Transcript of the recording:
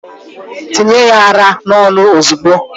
Tinye ya ara n'ọnụ ozugbo!